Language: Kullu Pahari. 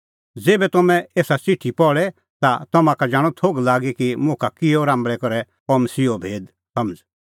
ज़ेभै तम्हैं एसा च़िठी पहल़े ता तम्हां का जाणअ थोघ लागी कि मुखा किहअ राम्बल़ै करै आअ मसीहो भेद समझ़